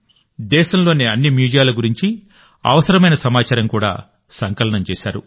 దేశంలోని అన్ని మ్యూజియాల గురించి అవసరమైన సమాచారం కూడా సంకలనం చేశారు